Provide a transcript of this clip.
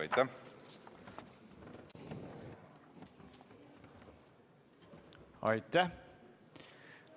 Aitäh!